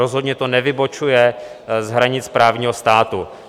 Rozhodně to nevybočuje z hranic právního státu.